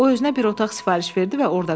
O özünə bir otaq sifariş verdi və orada qalır.